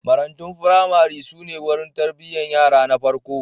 Marantun firamare su ne wurin tarbiyyar yara na farko.